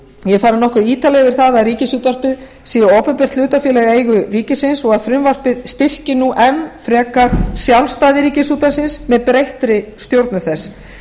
ég hef farið nokkuð ítarlega yfir það að ríkisútvarpið sé opinbert hlutafélag í eigu ríkisins og frumvarpið styrki nú enn frekar sjálfstæði ríkisútvarpsins með breyttri stjórnun þess